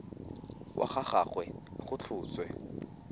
wa ga gagwe go tlhotswe